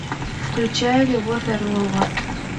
включай любовь орлова